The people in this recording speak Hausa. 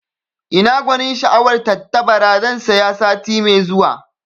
Ina gwanin sha'awar tattabara, zan saya sati mai zuwa